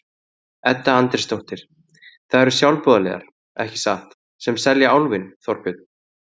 Edda Andrésdóttir: Það eru sjálfboðaliðar, ekki satt, sem selja Álfinn, Þorbjörn?